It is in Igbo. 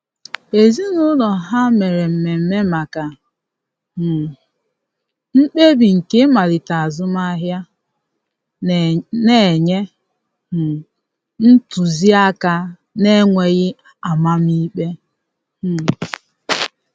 Ezinụlọ ha mere mmeme maka um mkpebi nke ịmalite azụmahịa, na-enye um ntụzi aka na-enweghi amam ikpe um.